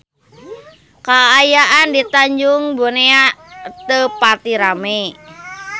Kaayaan di Tanjung Benoa teu pati rame